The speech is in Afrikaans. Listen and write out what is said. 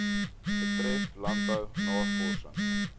betref landbou navorsing